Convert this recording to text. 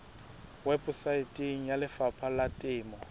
weposaeteng ya lefapha la temo